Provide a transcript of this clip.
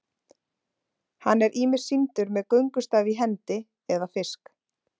Hann er ýmist sýndur með göngustaf í hendi eða fisk.